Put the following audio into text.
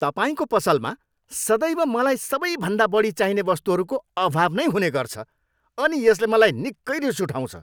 तपाईँको पसलमा सदैव मलाई सबैभन्दा बढी चाहिने वस्तुहरूको अभाव नै हुने गर्छ अनि यसले मलाई निकै रिस उठाउँछ।